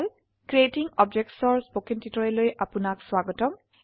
creating objects ৰ spoken টিউটোৰিয়েলে আপনাক স্বাগতম